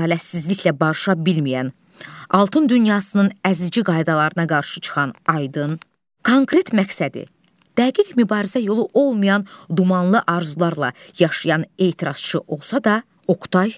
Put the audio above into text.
Ədalətsizliklə barışa bilməyən, Altun dünyasının əzici qaydalarına qarşı çıxan Aydın konkret məqsədi, dəqiq mübarizə yolu olmayan dumanlı arzularla yaşayan etirazçı olsa da, Oqtay,